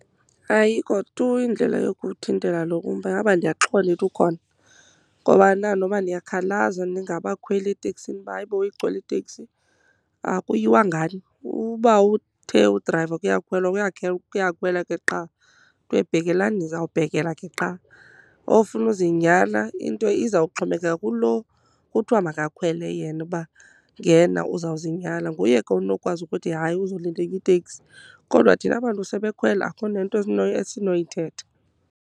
Ayikho tu indlela yokuwuthintela lo umba, ingaba ndiyaxoka uba ndithi ukhona. Ngobana noba niyakhalaza ningabakhweli eteksini uba hayibo igcwele iteks,i akuyiwa ngani. Uba uthe udrayiva kuyakhwelwa, kuyakhwelwa ke qha. Kuthiwe bhekelani, nizawubhekela ke qha. Ofuna uzinyala, into izawuxhomekeka kulo kuthiwa makakhwele yena uba ngena uzawuzinyala, nguye ke onokwazi ukuthi hayi uzolinda enye itekisi. Kodwa thina bantu sebekhwele akukho nento esinoyithetha.